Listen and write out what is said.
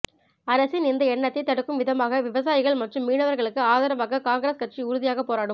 அரசின் இந்த எண்ணத்தை தடுக்கும் விதமாக விவசாயிகள் மற்றும் மீனவர்களுக்கு ஆதரவாக காங்கிரஸ் கட்சி உறுதியாக போராடும்